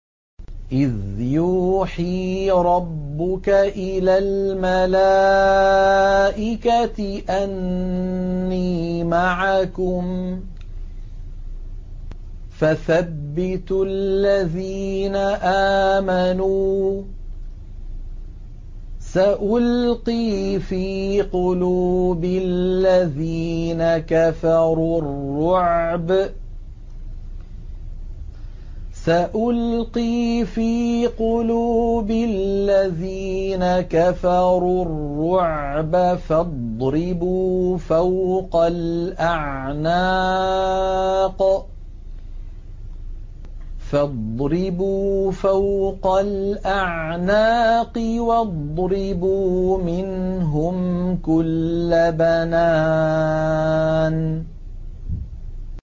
إِذْ يُوحِي رَبُّكَ إِلَى الْمَلَائِكَةِ أَنِّي مَعَكُمْ فَثَبِّتُوا الَّذِينَ آمَنُوا ۚ سَأُلْقِي فِي قُلُوبِ الَّذِينَ كَفَرُوا الرُّعْبَ فَاضْرِبُوا فَوْقَ الْأَعْنَاقِ وَاضْرِبُوا مِنْهُمْ كُلَّ بَنَانٍ